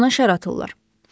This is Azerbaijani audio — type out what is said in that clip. Ona şər atırlar.